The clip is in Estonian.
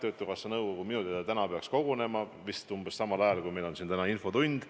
Töötukassa nõukogu minu teada täna peaks kogunema, vist samal ajal, kui meil on siin infotund.